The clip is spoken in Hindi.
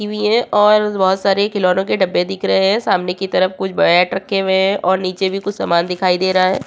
रखी हुई है और बहोत सारे खिलवनो के डब्बे दिख रहे हैं। सामने की तरफ कुछ बैट रखे हुए हैं और नीचे भी कुछ सामान दिखाई दे रहा है।